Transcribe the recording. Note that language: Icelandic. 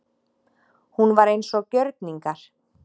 Hún var eins og gjörningar.